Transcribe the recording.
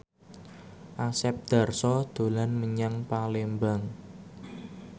Asep Darso dolan menyang Palembang